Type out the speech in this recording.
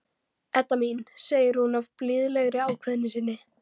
Edda mín, segir hún af blíðlegri ákveðni sinni.